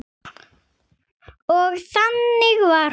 Og þannig var hún.